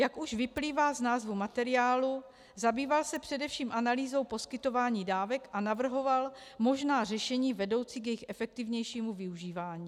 Jak už vyplývá z názvu materiálu, zabýval se především analýzou poskytování dávek a navrhoval možná řešení vedoucí k jejich efektivnějšímu využívání.